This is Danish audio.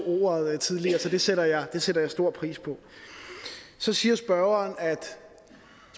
ordet tidligere så det sætter jeg sætter jeg stor pris på så siger spørgeren at